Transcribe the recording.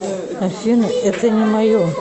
афина это не мое